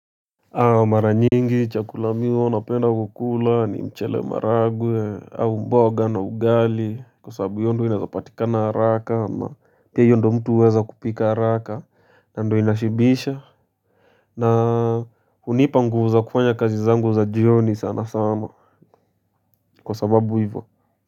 Mara nyingi chakula mimi huwa napenda kukula ni mchele maragwe au mboga na ugali kwa sababu hiyo ndo inaeza patikana haraka na hiyo ndo mtu huweza kupika haraka na ndio inashibisha. Na hunipa nguvu za kufanya kazi zangu za jioni sana sana kwa sababu ivo.